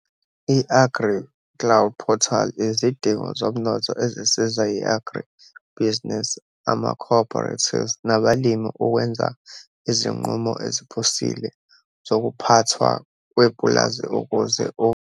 I-AgriCloud portal izidingo zomnotho ezisiza i-Agri-business, ama-cooperatives nabalimi ukwenza izinqumo ezephusile zokuphathwa kwepulazi ukuze u.